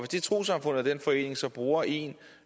det trossamfund eller den forening så bruger en